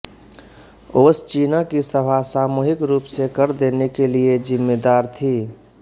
ओब्श्चीना की सभा सामूहिक रूप से कर देने के लिये ज़िम्मेदार थी